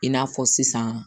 I n'a fɔ sisan